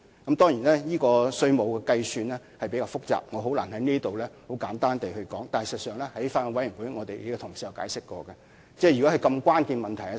當然有關的稅務計算比較複雜，我難以在這裏很簡單地闡述，但事實上，在法案委員會的會議上，我們的同事已曾作出解釋。